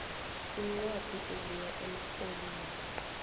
incwadi ebuya emrholini